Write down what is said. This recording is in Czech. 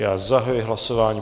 Já zahajuji hlasování.